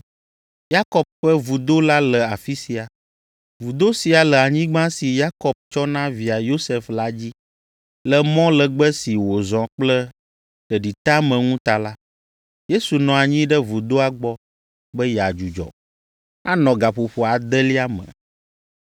Yakob ƒe vudo la le afi sia. Vudo sia le anyigba si Yakob tsɔ na via Yosef la dzi. Le mɔ legbe si wòzɔ kple ɖeɖiteameŋu ta la, Yesu nɔ anyi ɖe vudoa gbɔ be yeadzudzɔ. Anɔ gaƒoƒo adelia me.